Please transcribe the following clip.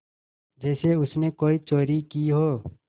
जैसे उसने कोई चोरी की हो